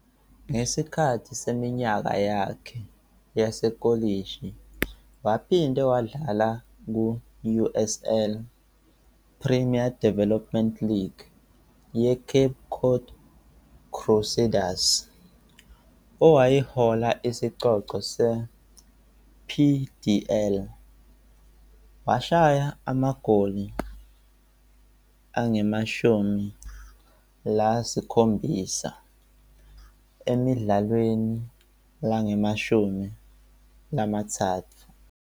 Ngesikhathi seminyaka yakhe yasekolishi waphinde wadlala ku- USL Premier Development League yeCape Cod Crusaders owayihola isicoco se-PDL, washaya amagoli angu-17 emidlalweni engu-13.